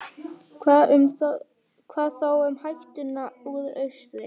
Hvað þá um hættuna úr austri?